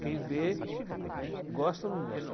Quem vê, né, gosta ou não gosta.